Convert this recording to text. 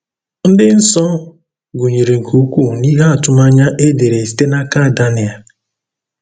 Ndị nsọ gụnyere nke ukwuu n’ihe atụmanya e dere site n’aka Daniel.